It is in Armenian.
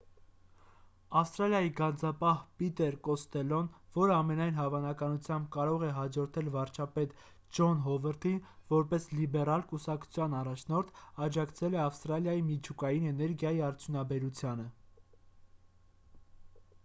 ավստրալիայի գանձապահ պիտեր կոստելլոն որը ամենայն հավանականությամբ կարող է հաջորդել վարչապետ ջոն հովարդին որպես լիբերալ կուսակցության առաջնորդ աջակցել է ավստրալիայի միջուկային էներգիայի արդյունաբերությանը